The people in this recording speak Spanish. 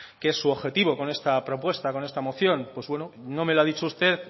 que es su objetivo con esta propuesta con esta moción pues bueno no me lo ha dicho usted